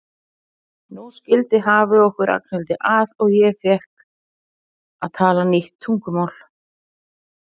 Nú skildi hafið okkur Ragnhildi að og ég fékk að tala nýtt tungumál.